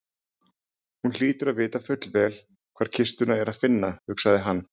Hún hlýtur að vita fullvel hvar kistuna er að finna, hugsaði hann.